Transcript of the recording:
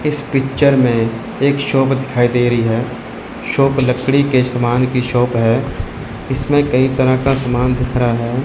इस पिक्चर में एक शॉप दिखाई दे रही है शॉप लकड़ी के सामान की शॉप है इसमें कई तरह का समान दिख रहा है।